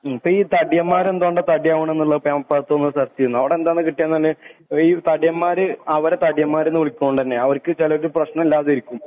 ഈ തടിയന്മാരെല്ലാം എന്തുകൊണ്ടന്ന് സെർച് ചെയ്‌തു നോക്കേണ് അവിടുന്ന് എന്താകിട്ടിയെന്നു ഈ തടിയൻമാര് അവരെ തടിയന്മാര് എന്നു വിളിക്കുന്നോണ്ട് തന്നയാണ്. ചെലര് ഭക്ഷണം ഇല്ലാണ്ടിരിക്കും.